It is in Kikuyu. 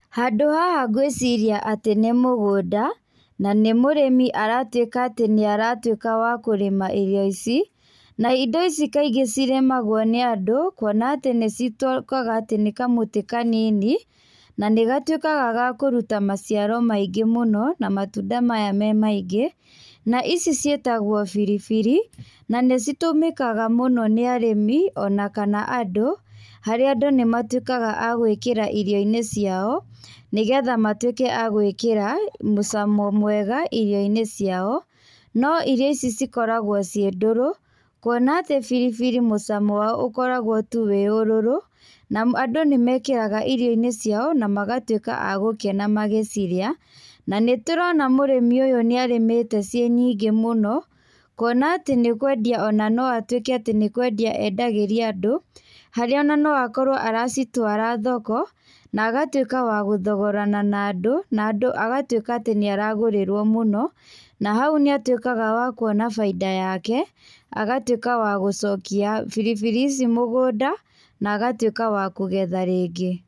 Handũ haha ngwĩciria atĩ nĩ mũgũnda, na nĩ mũrĩmi aratuĩka atĩ nĩ aratuĩka wa kũrĩma irio ici. Na indo ici kaingĩ cirĩmagwo nĩ andũ, kuona nĩ cituĩkaga atĩ nĩ kamũtĩ kanini, na nĩ gatuĩkaga gakũruta maciaro maingĩ mũno, na matunda maya me maingĩ. Na ici ciĩtagwo biribiri na nĩ citũmĩkaga mũno nĩ arĩmi, ona kana andũ. Harĩa andũ nĩ matuĩkaga nĩ magũikĩra irio-inĩ ciao, nĩ getha matuĩke agũĩkĩra mũcamo mwega irioinĩ ciao no irio ici cikoragwo cira ndũrũ, kuona atĩ biribiri mũcamo wao ũkoragwo tu wĩ ũrũrũ na andũ nĩ mekĩraga irioinĩ ciao na magatuĩka agũkena magĩcirĩa. Na nĩ tũrona mũrĩmi ũyũ nĩ arĩmĩte ciĩ nyingĩ mũno kuona atĩ nĩ kwendia ona no atuĩke nĩ kwendia endagĩria andũ harĩa ona no akorwo nĩ aracitwara thoko na agatuĩka wa gũthogorana na andũ, agatuĩka atĩ nĩ aragũrĩrwo mũno na hau nĩ atuĩkaga wa kuona baida yake agatuĩka wa gũcokia biribiri ici mũgũnda, na agatuĩka wa kũgetha rĩngĩ.